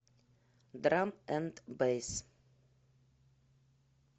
драм энд бэйс